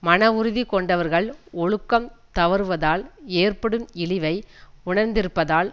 மன உறுதி கொண்டவர்கள் ஒழுக்கம் தவறுவதால் ஏற்படும் இழிவை உணர்ந்திருப்பதால்